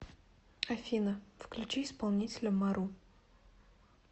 афина включи исполнителя мару